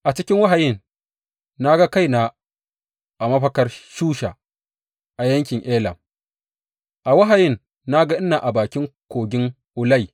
A cikin wahayin, na ga kaina a mafakar Shusha a yankin Elam; a wahayin na ga ina a bakin Kogin Ulai.